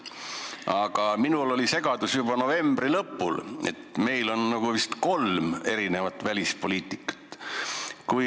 Aga minu meelest oli juba novembri lõpul segadus, meil oli nagu kolm erinevat välispoliitikat.